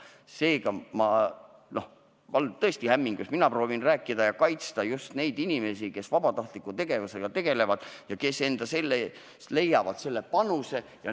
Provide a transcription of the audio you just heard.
Seega olen ma tõesti hämmingus, mina proovin rääkida ja kaitsta just neid inimesi, kes vabatahtliku tegevusega tegelevad ja kes leiavad võimaluse anda panuse.